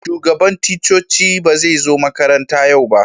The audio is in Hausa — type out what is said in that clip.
Shugaban ticcoci ba zai zo makaranta yau ba.